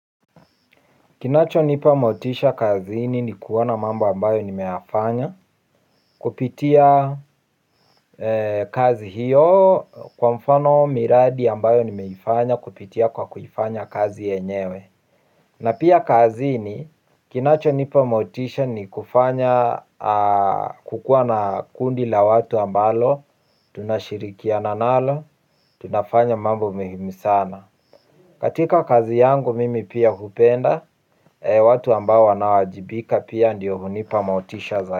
Kinacho nipa motisha kaziini ni kuona mambo ambayo nimeyafanya. Kupitia kazi hiyo kwa mfano miradi ambayo nimeifanya kupitia kwa kuifanya kazi yenyewe. Na pia kazi ini kinacho nipa motisha ni kufanya kukua na kundi la watu ambalo tunashirikiana nalo, tunafanya mambo muhimu sana. Katika kazi yangu mimi pia hupenda, watu ambao wanao wajibika pia ndiyo hunipa motisha zaidi.